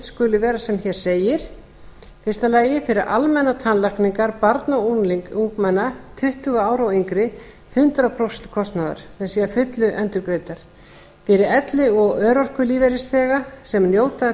skulu vera sem hér segir fyrstu fyrir almennar tannlækningar barna og ungmenna tuttugu ára og yngri hundrað prósent kostnaðar annars fyrir elli og örorkulífeyrisþega sem njóta